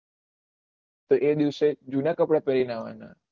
તો એ દિવસે ભીના કપડા પેહ્રીને આવાના